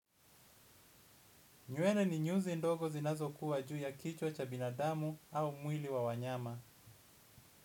Nywere ni nyuzi ndogo zinazokuwa juu ya kichwa cha binadamu, au mwili wa wanyama.